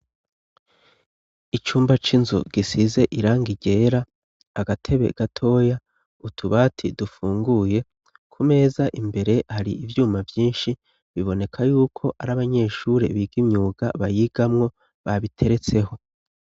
Icumba c'inzu gisize iranga rera agatebe gatoya utubati dufunguye ku meza imbere hari ivyuma vyinshi biboneka yuko ari abanyeshure bigaimyuga bayigamwo babiteretseho.